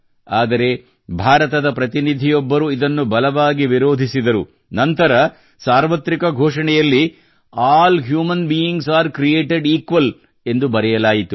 ಆದರೆ ಭಾರತದ ಪ್ರತಿನಿಧಿಯೊಬ್ಬರು ಇದನ್ನು ಬಲವಾಗಿ ವಿರೋಧಿಸಿದರು ನಂತರ ಸಾರ್ವತ್ರಿಕ ಘೋಷಣೆಯಲ್ಲಿಆಲ್ human beings are created equal ಎಂದು ಬರೆಯಲಾಯಿತು